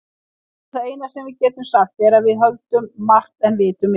Veistu, það eina sem við getum sagt er að við höldum margt en vitum minna.